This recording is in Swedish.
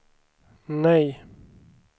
nej